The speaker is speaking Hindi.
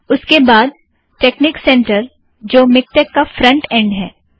उसके बाद टेक सेंटर जो मिक्टेक का फ़्रंट एंड़ है